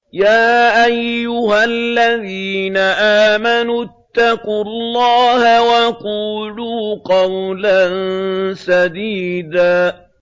يَا أَيُّهَا الَّذِينَ آمَنُوا اتَّقُوا اللَّهَ وَقُولُوا قَوْلًا سَدِيدًا